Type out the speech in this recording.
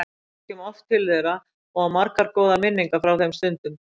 Ég kom oft til þeirra og á margar góðar minningar frá þeim stundum.